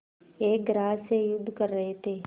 एक ग्रास से युद्ध कर रहे थे